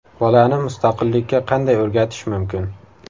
Bolani mustaqillikka qanday o‘rgatish mumkin?